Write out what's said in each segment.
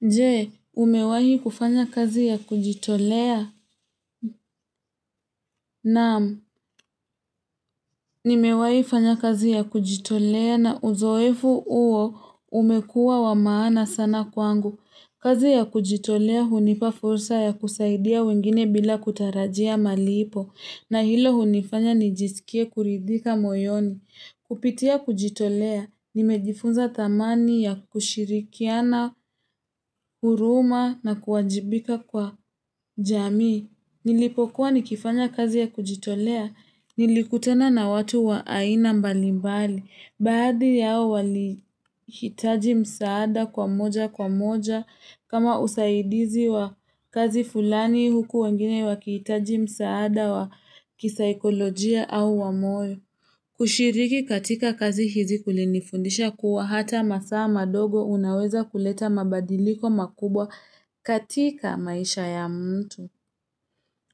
Je, umewahi kufanya kazi ya kujitolea? Naam, nimewahi kufanya kazi ya kujitolea na uzoefu huo umekuwa wamaana sana kwangu. Kazi ya kujitolea hunipa fursa ya kusaidia wengine bila kutarajia malipo. Na hilo hunifanya nijisikie kuridhika moyoni. Kupitia kujitolea, nimejifunza thamani ya kushirikiana, huruma na kuwajibika kwa jamii. Nilipokuwa nikifanya kazi ya kujitolea, nilikutana na watu wa aina mbalimbali. Baadhi yao walihitaji msaada kwa moja kwa moja kama usaidizi wa kazi fulani huku wengine wakihitaji msaada wa kisaikolojia au wa moyo. Kushiriki katika kazi hizi kulinifundisha kuwa hata masaa madogo unaweza kuleta mabadiliko makubwa katika maisha ya mtu.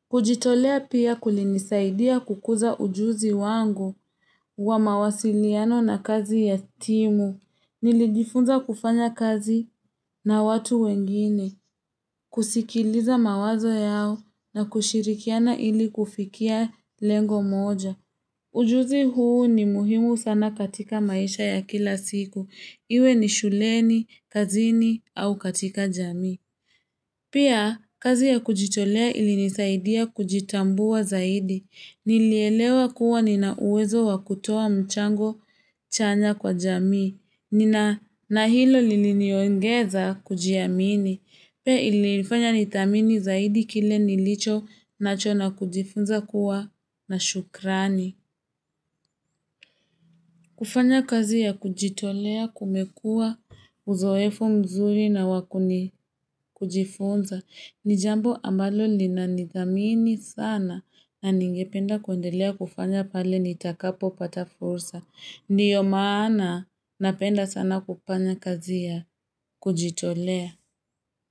Kujitolea pia kulinisaidia kukuza ujuzi wangu wa mawasiliano na kazi ya timu. Nilijifunza kufanya kazi na watu wengine, kusikiliza mawazo yao na kushirikiana ili kufikia lengo moja. Ujuzi huu ni muhimu sana katika maisha ya kila siku. Iwe ni shuleni, kazini au katika jamii. Pia, kazi ya kujitolea ilinisaidia kujitambua zaidi. Nilielewa kuwa nina uwezo wa kutoa mchango chanya kwa jamii. Nina nahilo liliniongeza kujiamini. Pia ilinifanya nithamini zaidi kile nilicho nacho na kujifunza kuwa na shukrani. Kufanya kazi ya kujitolea kumekuwa uzoefu mzuri na wakuni kujifunza. Ni jambo ambalo linanithamini sana na ningependa kuendelea kufanya pale nitakapo pata fursa. Ndio maana napenda sana kufanya kazi ya kujitolea.